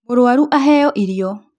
Mũrwaru aheo irio